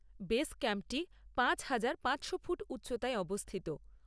Base ক্যাম্পটি পাঁচহাজার পাঁচশো ফুট উচ্চতায় অবস্থিত।